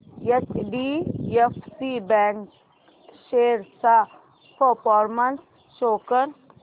HDFC bank shares चा performance show कर